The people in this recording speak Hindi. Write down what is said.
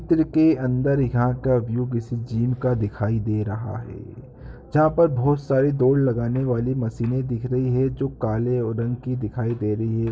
चित्र के अंदर यहां का व्यू (view) किसी जिम का दिखाई दे रहा है जहां पर बोहोत सारी दौड़ लगाने वाली मशीने दिख रही है जो काले रंग की दिखाई दे रही हैं।